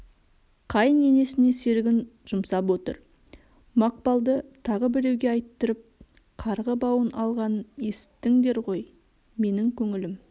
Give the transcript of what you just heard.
қайын енесіне серігін жұмсап отыр мақпалды тағы біреуге айттырып карғы бауын алғанын есіттіңдер ғой менің көңілім